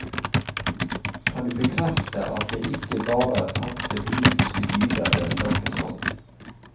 Kan du bekrefte at det ikke bare er tapte politiske dyder det snakkes om?